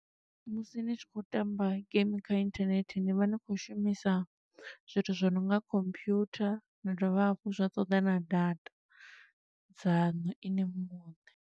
Musi ni tshi khou tamba game kha inthanethe ni vha ni khou shumisa zwithu zwi nonga computer, na dovha hafhu zwa toḓa na data dzaṋu ini muṋe.